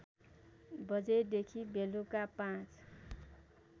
बजेदेखि बेलुका ५